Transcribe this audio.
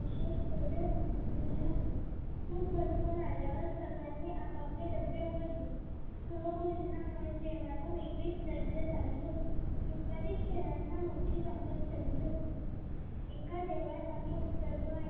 खूप भटकून आल्यावर सगळ्यांनी आपापले डब्बे उघडले सहभोजनामुळे जेवणाला वेगळीच लज्जत आली होती दुपारी खेळांना मोठी रंगत चढली होती एका देवळात आम्ही उतरलो आणि